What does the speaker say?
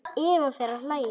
Eva fer að hlæja.